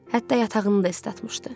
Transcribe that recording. Hətta yatağını da islatmışdı.